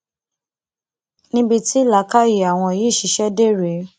níbi tí làákàyè àwọn yìí ṣiṣẹ dé rèé